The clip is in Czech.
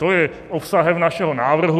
To je obsahem našeho návrhu.